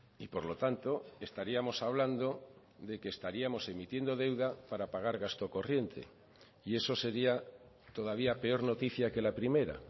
y por lo tanto estaríamos hablando de que estaríamos emitiendo deuda para pagar gasto corriente y eso sería todavía peor noticia que la primera